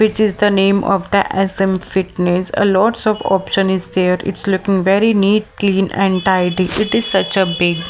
which is the name of the S_M fitness a lots of option is there its looking very neat clean and tidy it is such a big.